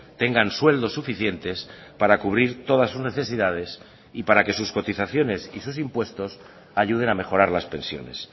tengan sueldos suficientes para cubrir todas sus necesidades y para que sus cotizaciones y sus impuestos ayuden a mejorar las pensiones